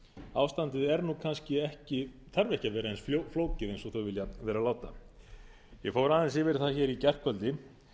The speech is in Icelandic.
ástandið þarf ekki að vera eins flókið og þau vilja vera láta ég fór aðeins yfir það í gærkvöldi